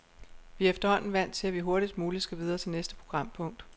Vi er efterhånden vant til, at vi hurtigst muligt skal videre til næste programpunkt.